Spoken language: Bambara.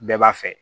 Bɛɛ b'a fɛ